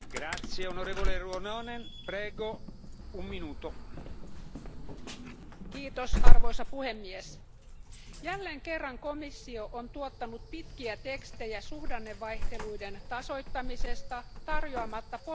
Arvoisa puhemies, jälleen kerran komissio on tuottanut pitkiä tekstejä suhdannevaihteluiden tasoittamisesta tarjoamatta poliittisesti realistista ja taloudellisesti toimivaa mallia Euroopan talous ja rahaliitolle.